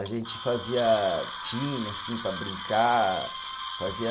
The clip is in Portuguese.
A gente fazia time, assim, para brincar, fazia